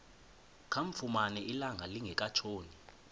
kamfumana ilanga lingekatshoni